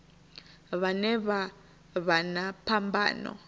vhane vha vha na phambano